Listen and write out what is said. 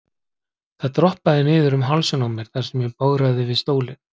Það dropaði niður um hálsinn á mér þar sem ég bograði við stólinn.